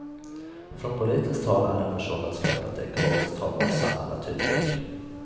Från politiskt håll är ambitionen att skapa ett ekologiskt hållbart samhälle tydlig.